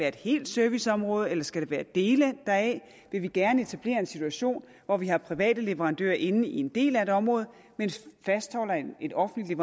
et helt serviceområde eller skal det ske på dele deraf vil vi gerne etablere en situation hvor vi har private leverandører inde på en del af et område mens vi fastholder et offentligt